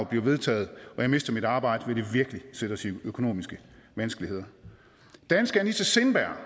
bliver vedtaget og jeg mister mit arbejde vil det virkelig sætte os i økonomiske vanskeligheder danske anitta sindberg